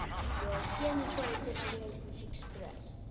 где находится магазин фикс прайс